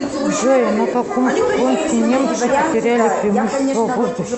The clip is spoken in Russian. джой на каком фронте немцы потеряли преимущество в воздухе